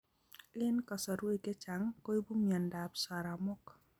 En kasarwek chechang koibu myondo ab saramok